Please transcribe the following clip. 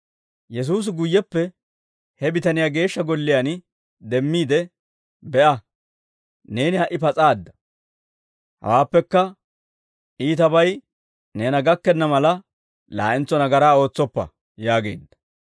Yesuusi guyyeppe he bitaniyaa Geeshsha Golliyaan demmiide, «Be'a, neeni ha"i pas'aadda; hawaappekka iitabay neena gakkenna mala, laa'entso nagaraa ootsoppa» yaageedda.